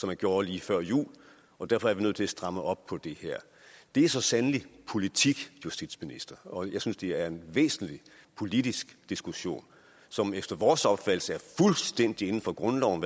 man gjorde lige før jul og derfor er vi nødt til at stramme op på det her det er så sandelig politik justitsminister og jeg synes at det er en væsentlig politisk diskussion som efter vores opfattelse er fuldstændig inden for grundloven